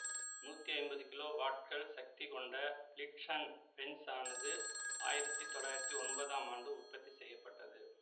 நூத்தி ஐம்பது கிலோ வாட்கள் சக்தி கொண்ட பிளிட்சன் பென்சு ஆனது ஆயிரத்தி தொள்ளாயிரத்தி ஒன்பதாம் ஆண்டு உற்பத்தி செய்ய பட்டது